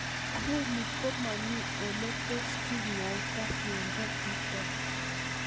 Ng'uni komamii ole tos kinyaita miondo nitok